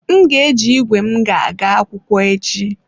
M ga-eji ígwè m ga-aga akwụkwọ echi.